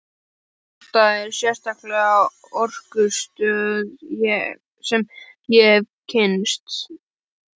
Frú Alda er sterkasta orkustöð sem ég hef kynnst.